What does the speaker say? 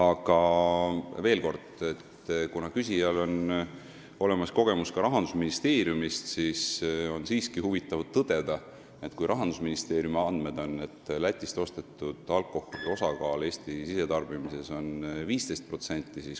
Aga veel kord, kuna küsijal on olemas ka Rahandusministeeriumis töötamise kogemus, oleks huvitav teada, kuidas olete teie jõudnud 40%-ni, kui Rahandusministeeriumi andmete järgi on Lätist ostetud alkoholi osakaal Eesti sisetarbimises 15%.